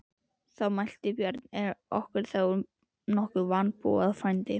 Þá mælti Björn: Er okkur þá nokkuð að vanbúnaði, frændi?